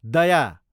दया